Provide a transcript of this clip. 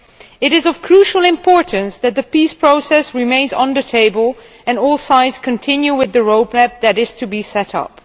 It is of crucial importance that the peace process remain on the table and that all sides continue with the road map that is to be set up.